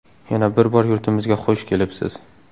Yana bir bor yurtimizga xush kelibsiz!